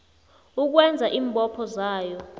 ukwenza iimbopho zayo